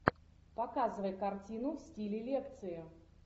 показывай картину в стиле лекции